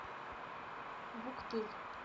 вуктыл